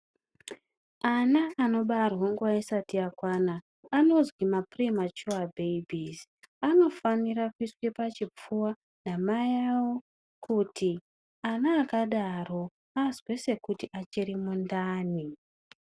Ana anobarwa nguwa isati yakwana anozwi mapirimachuwa bheibhizi, anofanira kuiswa pachipfuwa namai avo kuti ana akadaro azwe sekuti achiri mundani.